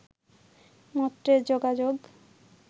মর্ত্যের যোগাযোগ